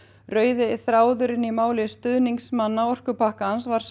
rauði þráðurinn í máli stuðningsmanna orkupakkans var